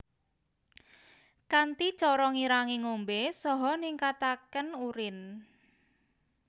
Kanthi cara ngirangi ngombè saha ningkatakén urin